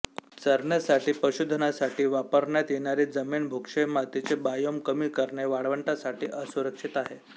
चरण्यासाठी पशुधनासाठी वापरण्यात येणारी जमीन भूक्षय मातीचे बायोम कमी करणे वाळवंटासाठी असुरक्षित आहे